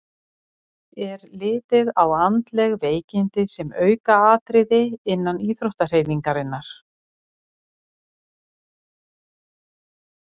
Er litið á andleg veikindi sem aukaatriði innan íþróttahreyfingarinnar?